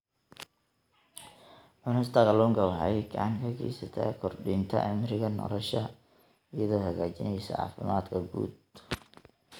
Cunista kalluunka waxay gacan ka geysataa kordhinta cimriga nolosha iyadoo hagaajinaysa caafimaadka guud.